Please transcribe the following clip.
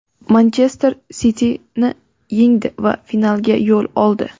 "Manchester Siti"ni yengdi va finalga yo‘l oldi.